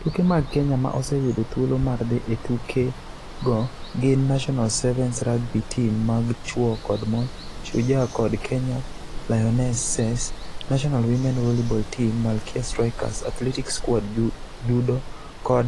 Tuke mag Kenya ma oseyudo thuolo mar dhi e tukego gin National Sevens rugby team mag chwo kod mon - Shujaa kod Kenya Lionesses, National Women Volleyball team- Malkia Strikers, Athletics Squad, judo kod